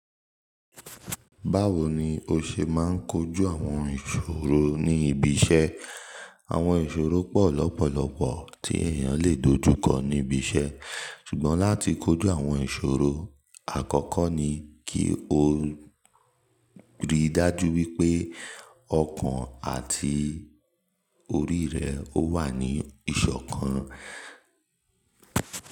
Báwo ni o ṣe máa ń kojú àwọn ìṣòro ní ibi iṣẹ́? Àwọn ìṣòro pọ̀ lọ́pọ̀lọpọ̀ tí èèyàn lè dojú kọ níbi iṣẹ́. Ṣùgbọ́n láti kojú àwọn ìṣòro, àkọ́kọ́ ni kí o rí dájú wípé ọkàn àti orí rẹ ó wà ní ìṣọ̀kan.